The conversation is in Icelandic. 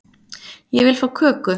Ég vil fá köku